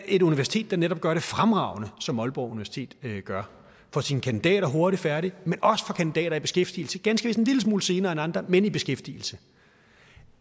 et universitet der netop gør det fremragende som aalborg universitet gør får sine kandidater hurtigt færdige men også får kandidater i beskæftigelse ganske vist en lille smule senere end andre men i beskæftigelse